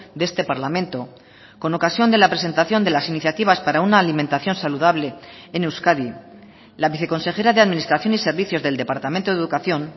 de este parlamento con ocasión de la presentación de las iniciativas para una alimentación saludable en euskadi la viceconsejera de administración y servicios del departamento de educación